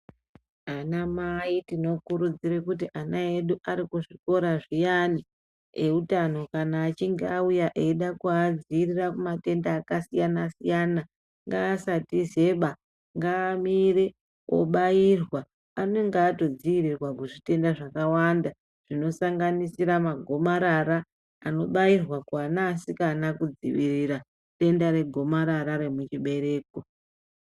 Anamai tinokurudzire kuti ana edu ari kuzvikora zviyani eutano kana achinge auya echide kuadziirira kumatenda akasiyana-siyana ngaasatizeba. Ngaamire obairwa, anenge atodziirirwa kuzvitenda zvakawanda zvinosanganisira magomarara anobairwa kuana asikana kudzivirira denda regomarara remuchibereko.